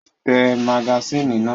Tẹ magasínì náà!